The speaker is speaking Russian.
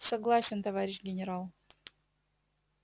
согласен товарищ генерал